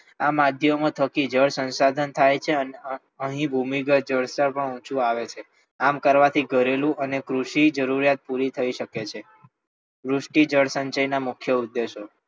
આ માધ્યમો થકી જળ સંસાધન થાય છે અને અહીં ભૂમિગત જળ પણ ઓછું આવે છે આમ કરવાથી ઘરેલુ અને કૃષિ જરૂરિયાત પૂરી થઈ શકે છે વૃષ્ટિ જળસંચયના મુખ્ય ઉદ્દેશો